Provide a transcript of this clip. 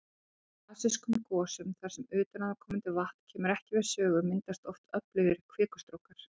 Í basískum gosum þar sem utanaðkomandi vatn kemur ekki við sögu, myndast oft öflugir kvikustrókar.